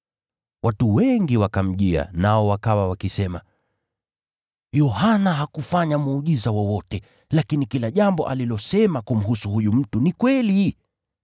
Watu wengi wakamjia, nao wakawa wakisema, “Yohana hakufanya muujiza wowote, lakini kila jambo alilosema kumhusu huyu mtu ni kweli.”